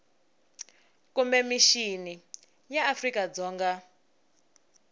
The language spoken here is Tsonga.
kumbe mixini ya afrika dzonga